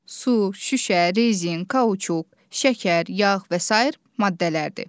Su, şüşə, rezin, kauçuk, şəkər, yağ və sair maddələrdir.